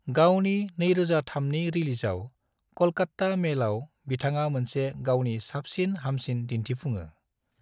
गावनि 2003 नि रिलीजआव, कलकत्ता मेलआव, बिथाङा मोनसे गावनि साबसिन हामसिन दिन्थिफुङो।